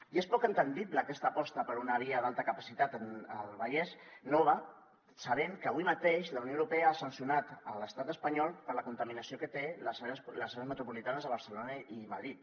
i és poc comprensible aquesta aposta per una via d’alta capacitat al vallès nova sabent que avui mateix la unió europea ha sancionat l’estat espanyol per la contaminació que té a les àrees metropolitanes de barcelona i madrid